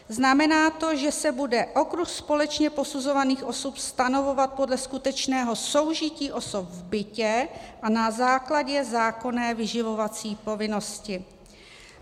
Znamená to, že se bude okruh společně posuzovaných osob stanovovat podle skutečného soužití osob v bytě a na základě zákonné vyživovací povinnosti.